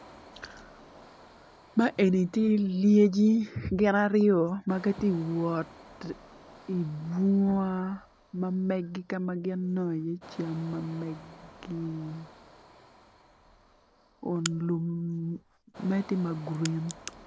Man eni tye lyecci gin aryo magitye wot i bunga mamegi kama gin inongo i ye cam mamegi kun magitye magurin.